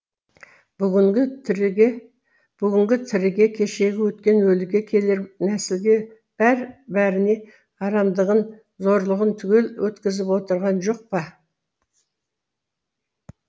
бүгінгі тіріге бүгінгі тіріге кешегі өткен өліге келер нәсілге бәр бәріне арамдығын зорлығын түгел өткізіп огырған жоқ па